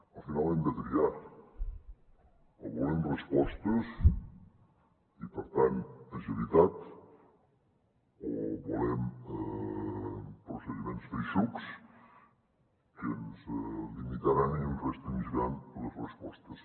al final hem de triar o volem respostes i per tant agilitat o volem procediments feixucs que ens limitaran i ens restringiran les respostes